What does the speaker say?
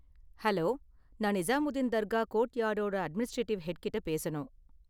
Hello, நான் நிசாமுத்தின் தர்கா கோர்ட்யார்டோட administrative head கிட்ட பேசணும்?